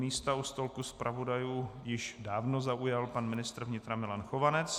Místa u stolku zpravodajů již dávno zaujal pan ministr vnitra Milan Chovanec.